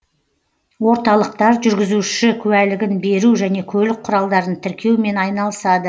орталықтар жүргізуші куәлігін беру және көлік құралдарын тіркеумен айналысады